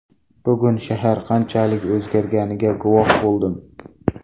Bugun shahar qanchalik o‘zgarganiga guvoh bo‘ldim.